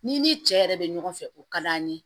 N'i ni cɛ yɛrɛ bɛ ɲɔgɔn fɛ o ka d'an ye